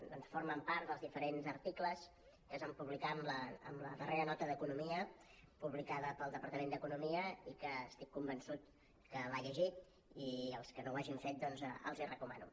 doncs formen part dels diferents articles que es van publicar en la darrera nota d’economia publicada pel departament d’economia i que estic convençut que l’ha llegit i que els que no ho hagin fet els ho recomano